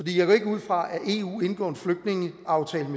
jeg går ikke ud fra at eu indgår en flygtningeaftale